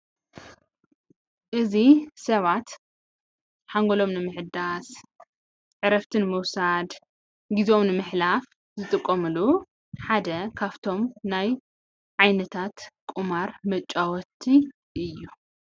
እዚ ሰባት ሓንጎሎም ንምሕዳስ ፣ ዕረፍቲ ንምውሳድ፣ ግዜኦም ንምሕላፍ ዝጥቀምሉ ሓደ ካብቶም ናይ ዓይነታት ቁማር መጫወቲ እዩ፡፡